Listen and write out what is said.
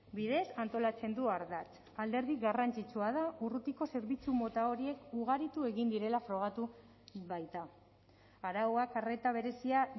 bidez antolatzen du ardatz alderdi garrantzitsua da urrutiko zerbitzu mota horiek ugaritu egin direla frogatu baita arauak arreta berezia